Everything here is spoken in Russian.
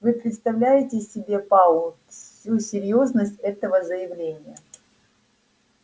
вы представляете себе пауэлл всю серьёзность этого заявления